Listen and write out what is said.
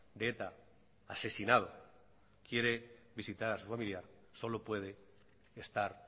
de eta asesinado quiere visitar a su familiar solo puede estar